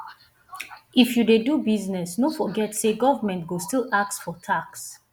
if you dey do business no forget say government go still ask for tax